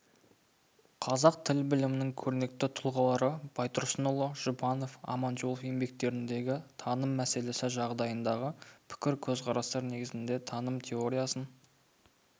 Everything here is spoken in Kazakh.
қазақ тіл білімінің көрнекті тұлғалары байтұрсынұлы жұбанов аманжолов еңбектеріндегі таным мәселесі жайындағы пікір-көзқарастар негізінде таным теориясын